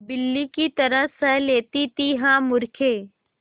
बिल्ली की तरह सह लेती थीहा मूर्खे